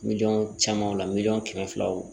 Miliyɔn camanw la miliyɔn kɛmɛ filaw